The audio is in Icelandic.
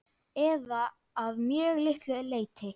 Eða að mjög litlu leyti.